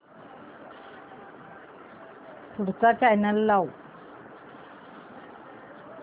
पुढचा चॅनल लाव